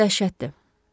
Diş ağrısı dəhşətdir.